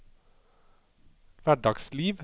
hverdagsliv